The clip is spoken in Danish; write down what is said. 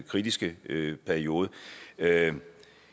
kritiske periode det er et